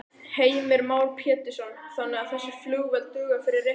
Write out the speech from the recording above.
Heimir Már Pétursson: Þannig að þessi flugvél dugar fyrir reikningnum?